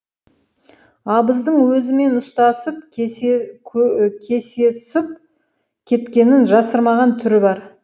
абыздың өзімен ұстасып кесесіп кеткенін жасырмаған түрі бар